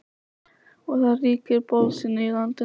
Og það ríkir bölsýni í landinu.